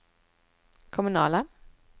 kommunala